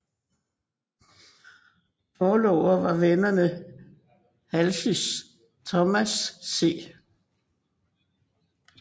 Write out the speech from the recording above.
Forlovere var vennerne Halseys Thomas C